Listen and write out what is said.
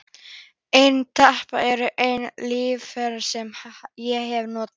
Eyrnatappar eru eina taugalyf sem ég hef notað.